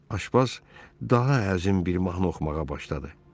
Aşpaz daha əzim bir mahnı oxumağa başladı.